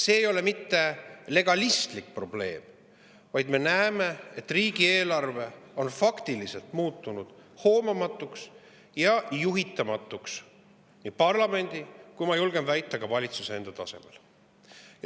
See ei ole mitte legistlik probleem, vaid me näeme, et riigieelarve on muutunud faktiliselt hoomamatuks ja juhitamatuks nii parlamendi kui ka, ma julgen väita, valitsuse enda tasemel.